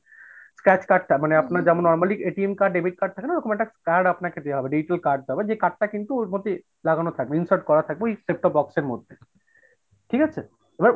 scratch card টা মানে আপনার যেমন normally card debit card থাকেনা ওরকম একটা card আপনাকে দেয়া হবে, যেহেতু এই card ব্যবহার এই card টা কিন্তু ওর মধ্যে লাগানো থাকবে insert করা থাকবে set top box এর মধ্যে ঠিকাছে?